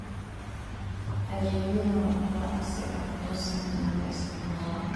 Adeegyadani waa kuwo casri ah oo sahlan in la isticmaalo.